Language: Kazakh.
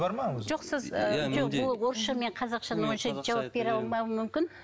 жоқ сіз ыыы ол орысша мен қазақшаны онша жауап бере алмауым мүмкін